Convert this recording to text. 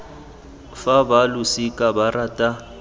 fa ba losika ba rata